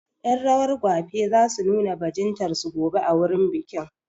Ƴan rawar gwafe za su nuna bajintar su gobe a wurin bikin.